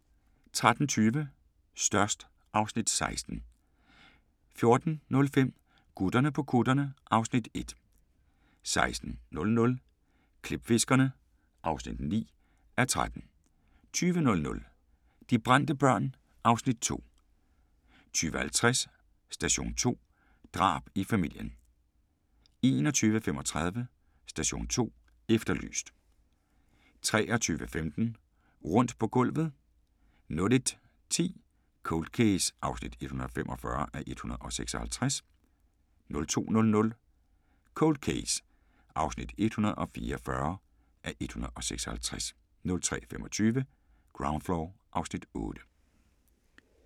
13:20: Størst (Afs. 16) 14:05: Gutterne på kutterne (Afs. 1) 16:00: Klipfiskerne (9:13) 20:00: De brændte børn (Afs. 2) 20:50: Station 2: Drab i familien 21:35: Station 2 Efterlyst 23:15: Rundt på gulvet 01:10: Cold Case (145:156) 02:00: Cold Case (144:156) 03:25: Ground Floor (Afs. 8)